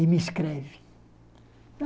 E me escreve.